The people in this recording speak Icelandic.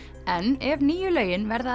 en ef nýju lögin verða að